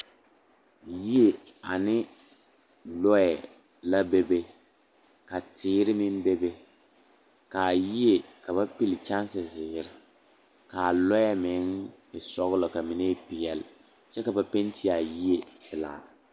Yie ane lɔɛ la bebe ka teere meŋ bebe ka a yie ka ba pilli kyɛnsezeere k,a lɔɛ meŋ e sɔglɔ ka mine e peɛle kyɛ ka ba penti a yie pelaa.